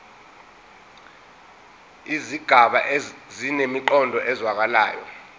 izigaba zinemiqondo ezwakalayo